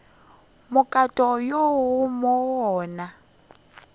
mokato wo mo go ona